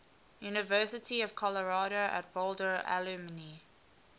university of colorado at boulder alumni